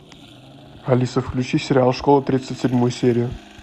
алиса включи сериал школа тридцать седьмую серию